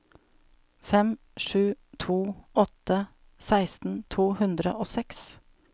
fem sju to åtte seksten to hundre og seks